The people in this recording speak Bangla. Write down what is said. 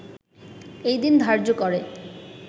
এই দিন ধার্য্য করে